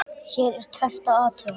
Hér er tvennt að athuga.